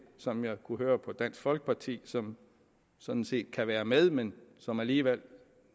som jeg kunne høre på dansk folkeparti som sådan set kan være med men som alligevel